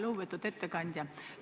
Lugupeetud ettekandja!